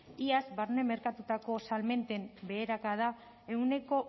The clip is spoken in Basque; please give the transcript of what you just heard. iaz barne merkatuetako salmenten beherakada ehuneko